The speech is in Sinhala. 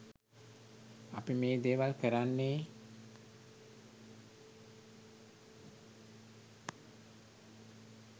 අපි මේ දේවල් කරන්නේ